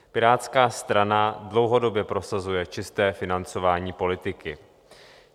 Pirátská strana dlouhodobě prosazuje čisté financování politiky.